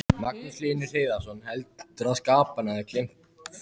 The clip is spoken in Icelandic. Magnús Hlynur Hreiðarsson: Heldurðu að skaparinn hafi gleymt þér?